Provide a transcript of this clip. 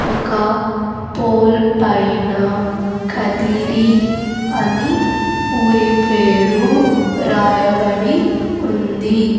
ఒకా పోల్ పైన కదిరి అని ఊరి పేరు రాయబడి ఉంది.